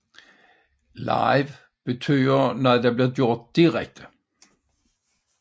Live betyder noget bliver gjort direkte